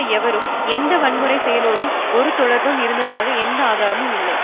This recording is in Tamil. எவருக்கும் எந்த வன்முறை செயலோடும் ஒரு தொடர்பு இருந்ததாக எந்த ஆதாரமும் இல்லை